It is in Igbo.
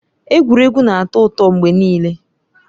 Egwuregwu na-atọ ụtọ mgbe niile.